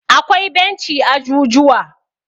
akwai benci a jujuwa